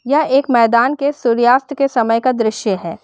यह एक मैदान के सूर्यास्त के समय का दृश्य है।